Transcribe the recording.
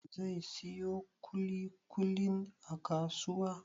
Zai siyo ƙuli-ƙulin a kasuwa?